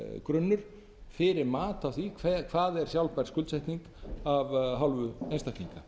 grunnur fyrir mat á því hvað er sjálfbær skuldsetning af hálfu einstaklinga